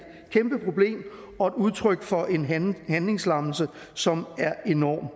kæmpe problem og et udtryk for en handlingslammelse som er enorm